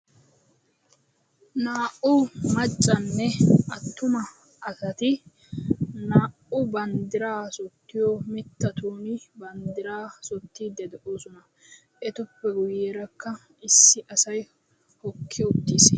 naa"u maccane attuma asati bandira kaqidi doosona ettape yabagarakka issi assi hokki uttisi.